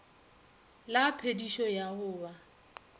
la phedišo ya go ba